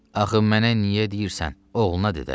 Axı mənə niyə deyirsən, oğluna de də.